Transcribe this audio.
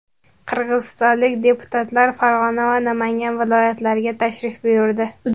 Qirg‘izistonlik deputatlar Farg‘ona va Namangan viloyatlariga tashrif buyurdi.